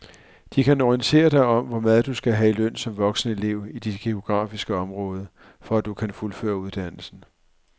De kan orientere dig om hvor meget du skal have i løn som voksenelev i dit geografiske område, for at du kan fuldføre uddannelsen.